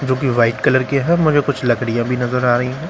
जो कि white colour के है मगर कुछ लकड़ियां भी नजर आ रही है।